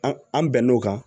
An an bɛn n'o kan